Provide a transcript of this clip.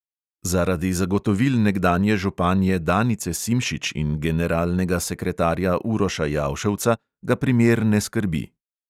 Zaradi zagotovil nekdanje županje danice simšič in generalnega sekretarja uroša jauševca ga primer ne skrbi.